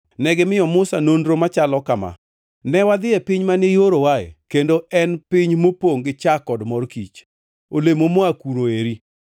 Negimiyo Musa nonro machalo kama: “Ne wadhi e piny mane iorowae, kendo en piny mopongʼ gi chak kod mor kich! Olemo moa kuno eri.